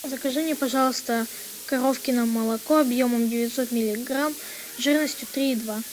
закажи мне пожалуйста коровкино молоко объемом девятьсот миллиграмм жирностью три и два